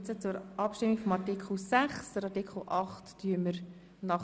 Wir stimmen nun über den Antrag zu Artikel 6 ab.